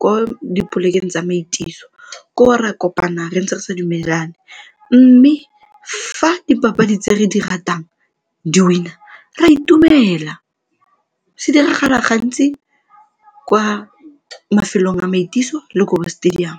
ko dipolekeng tsa maitiso, koo re a kopana re ntse re sa dumelane mme fa dipapadi tse re di ratang di-win-a re a itumela, se diragala gantsi kwa mafelong a maitiso le ko stadium.